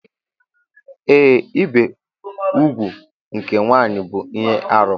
Ee, ibi úgwù nke nwanyị bụ ihe arụ.